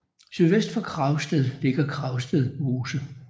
Sydvest for Kragsted ligger Kragsted Mose